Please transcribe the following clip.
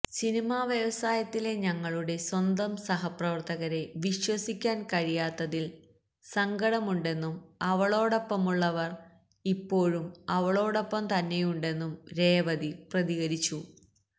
cinema വ്യവസായത്തിലെ ഞങ്ങളുടെ സ്വന്തം സഹപ്രവര്ത്തകരെ വിശ്വസിക്കാന് കഴിയാത്തതില് സങ്കടമുണ്ടെന്നും അവളോടൊപ്പമുള്ളവര് ഇപ്പോഴും അവളോടൊപ്പം തന്നെയുണ്ടെന്നും രേവതി പ്രതികരിച്ചു